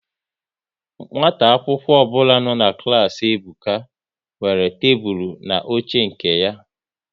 Nwata akwụkwọ ọbụla nọ n'klas Ebuka nwere tebụl na oche nke ya